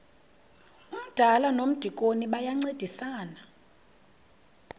umdala nomdikoni bayancedisana